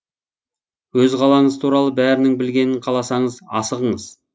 өз қалаңыз туралы бәрінің білгенін қаласаңыз асығыңыз